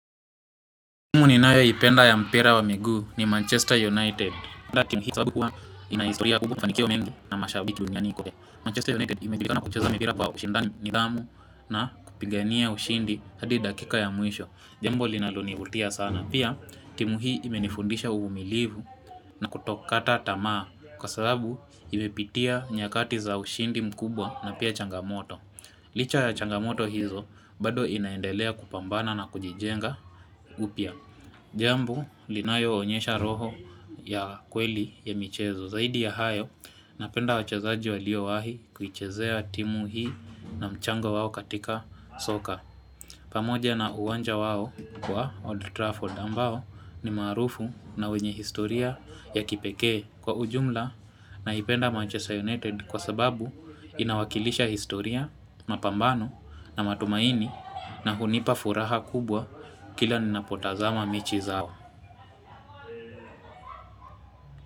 Timu ninayoipenda ya mpira wa miguu ni Manchester United. Dakika ya mwisho pia timu hii imenifundisha uvumilivu na kutokata tamaa Kwa sababu ime pitia nyakati za ushindi mkubwa na pia changamoto. Licha ya changamoto hizo bado inaendelea kupambana na kujijenga upya Jambo linayo onyesha roho ya kweli ya michezo zaidi ya hayo napenda wachezaji walio wahi kuichezea timu hii na mchango wao katika soka. Pamoja na uwanja wao wa Old Trafford ambao ni marufu na wenye historia ya kipekee kwa ujumla naipenda Manchester united kwa sababu inawakilisha historia, mapambano na matumaini na hunipa furaha kubwa kila ninapotazama mechi zao.